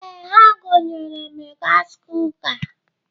Ee, ha gonyere m gasị kuka.